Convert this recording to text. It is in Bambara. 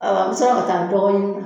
Aiwa an bɛ se ka taa dɔgɔnun.